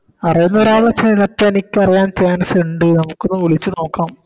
അറിയുന്നൊരാളെ ചെലപെനിക്കറിയാൻ Chance ഇണ്ട് നമുക്കൊന്ന് വിളിച്ച് നോക്കാം